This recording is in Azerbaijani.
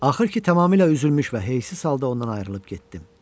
Axır ki, tamamilə üzülmüş və heysiz halda ondan ayrılıb getdim.